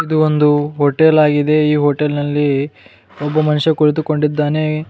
ಇದು ಒಂದು ಹೋಟೆಲ್ ಆಗಿದೆ ಈ ಹೋಟೆಲ್ ನಲ್ಲಿ ಒಬ್ಬ ಮನುಷ್ಯ ಕುಳಿತುಕೊಂಡಿದ್ದಾನೆ.